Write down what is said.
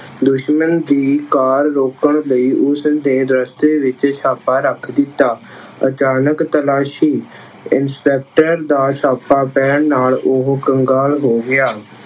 ਦੁਸ਼ਮਣ ਦੀ ਕਾਰ ਰੋਕਣ ਲਈ ਉਸਦੇ ਰਸਤੇ ਵਿੱਚ ਛਾਪਾ ਰੱਖ ਦਿੱਤਾ। ਅਚਾਨਕ ਤਾਲਾਸ਼ੀ- ਇੰਸਪੈਕਟਰ ਦਾ ਛਾਪਾ ਪੈਣ ਨਾਲ ਉਹ ਕੰਗਾਲ ਹੋ ਗਿਆ।